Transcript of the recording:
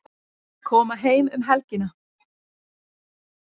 Koma heim um helgina